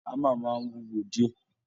Hammer máa ń wúwo díẹ̀